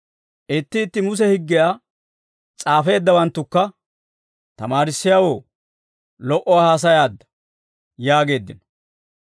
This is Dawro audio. Itti itti Muse higgiyaa s'aafeeddawanttukka, «Tamaarissiyaawoo, lo"uwaa haasayaadda» yaageeddino.